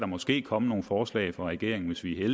måske komme nogle forslag fra regeringen hvis vi er